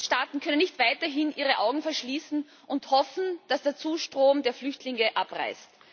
Die Mitgliedstaaten können nicht weiterhin ihre Augen verschließen und hoffen, dass der Zustrom der Flüchtlinge abreißt.